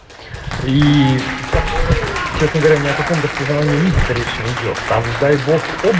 и сейчас на каком распознавание лица речи не идёт сам дай бог